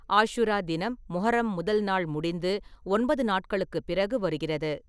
ஆஷுரா தினம், முஹர்ரம் முதல் நாள் முடிந்து ஒன்பது நாட்களுக்குப் பிறகு வருகிறது.